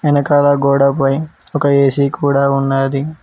వెనకాల గోడపై ఒక ఏసీ కూడా ఉన్నాది.